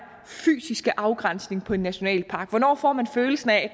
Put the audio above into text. fysiske afgrænsning af en nationalpark hvornår får man følelsen af at